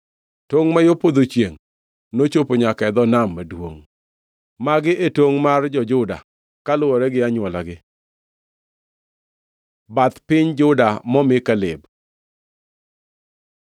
Tongʼ ma yo podho chiengʼ nochopo nyaka e dho Nam Maduongʼ. Magi e tongʼ mar jo-Juda kaluwore gi anywolagi. Bath piny Juda momi Kaleb